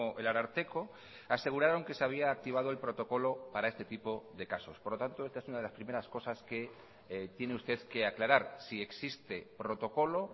el ararteko aseguraron que se había activado el protocolo para este tipo de casos por lo tanto esta es una de las primeras cosas que tiene usted que aclarar si existe protocolo